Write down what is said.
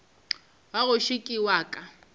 wa gešo ke wa ka